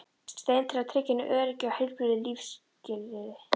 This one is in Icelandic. stein til að tryggja henni öryggi og heilbrigð lífsskilyrði.